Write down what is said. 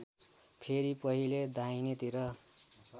फेरि पहिले दाहिनेतिर